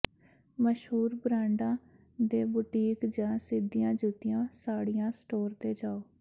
ਮਸ਼ਹੂਰ ਬਰਾਂਡਾਂ ਦੇ ਬੂਟੀਕ ਜਾਂ ਸਿੱਧੀਆਂ ਜੁੱਤੀ ਸਾੜੀਆਂ ਸਟੋਰ ਤੇ ਜਾਓ